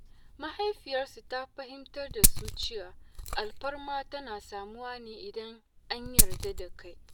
Mahaifiyarsu ta fahimtar da su cewa alfarma tana samuwa ne idan an yarda da kai.